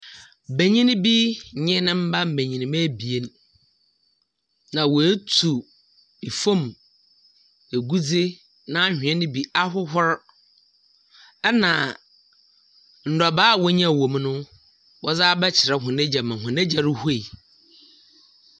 Banyin bi nye ne mba mbanyimba ebien na woetu tfam egudze n’anhwea no bi ahohor. Na ndɔbaa a wonyaa no wɔ mu no, wɔdze abɛkyerɛ hɔn egya ma hɔn egya ruhue.